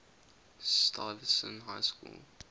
stuyvesant high school